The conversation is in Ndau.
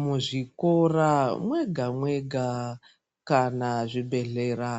Muzvikora mwega mwega kana zvibhedhlera